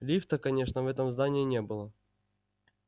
лифта конечно в этом здании не было